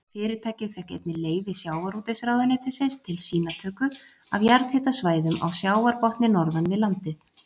Fyrirtækið fékk einnig leyfi sjávarútvegsráðuneytisins til sýnatöku af jarðhitasvæðum á sjávarbotni norðan við landið.